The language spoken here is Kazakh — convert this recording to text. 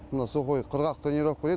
мұны сухой құрғақ тренировка дейді